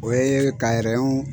O ye ka rɛhɔn